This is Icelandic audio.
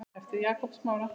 eftir Jakob Smára.